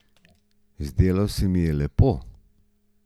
Zdelo se mi je lepo.